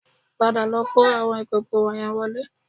Padà lọ kó àwọn ìkòkò wọ̀nyẹn wọlé